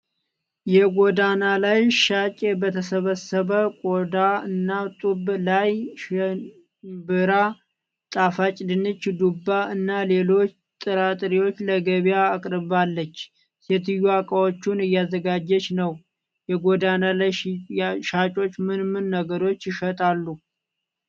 የጎዳና ላይ ሻጭ በተሰባሰበ ቆዳ እና ጡብ ላይ ሽንብራ፣ ጣፋጭ ድንች፣ ዱባ እና ሌሎች ጥራጥሬዎችን ለገበያ አቅርባለች። ሴትየዋ እቃዎቹን እያዘጋጀች ነው። የጎዳና ላይ ሻጮች ምን ምን ነገሮችን ይሸጣሉ?